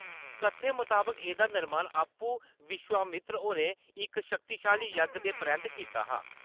कत्थें मताबक, एह्‌‌‌दा निर्माण आपूं विश्वामित्र होरें इक शक्तिशाली यज्ञ दे परैंत्त कीता हा।